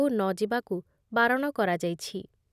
ନଯିବାକୁ ବାରଣ କରାଯାଇଛି